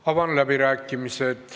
Avan läbirääkimised.